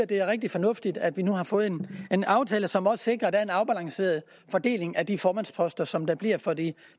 det er rigtig fornuftigt at vi nu har fået en aftale som også sikrer at der er en afbalanceret fordeling af de formandsposter som der bliver for de